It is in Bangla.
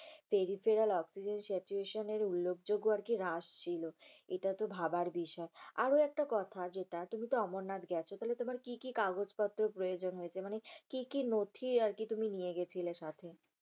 periferal oxygen situation এর উল্লেখযোগ্য আরকি হ্রাস ছিল। এটাতে ভাবার বিষয়, আরো একটি কথা যেটা তুমিতো অমরনাথ গেছ, তাহলে তোমার কি কি কাগজপত্র প্রয়োজন হয়েছে? মানে কি কি নথি আরকি তুমি নিয়ে গিয়েছিলে সাথে?